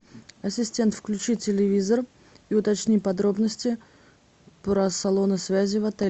ассистент включи телевизор и уточни подробности про салоны связи в отеле